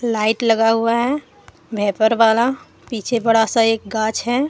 Light लगा हुआ है भाइपर वाला पीछे बड़ा सा एक कांच है।